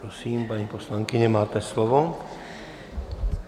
Prosím, paní poslankyně, máte slovo.